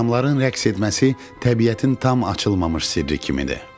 Adamların rəqs etməsi təbiətin tam açılmamış sirri kimidir.